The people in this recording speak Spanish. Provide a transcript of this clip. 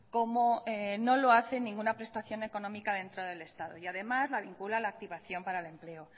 como no lo hace ninguna prestación económica dentro del estado y además la vincula a la activación para el empleo